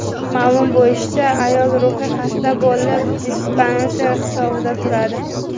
Ma’lum bo‘lishicha, ayol ruhiy xasta bo‘lib, dispanser hisobida turadi.